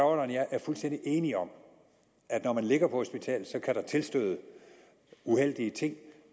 og jeg er fuldstændig enige om at når man ligger på hospitalet kan der tilstøde uheldige ting